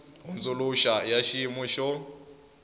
hundzuluxa i ya xiyimu xo